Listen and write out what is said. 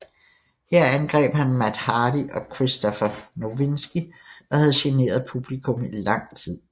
Her angreb han Matt Hardy og Christopher Nowinski der havde generet publikum i lang tid